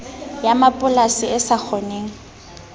ya mapolasi e sa kgoneng